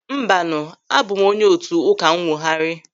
Mbanu, abụ m onye otu Ụka Nnwogharị.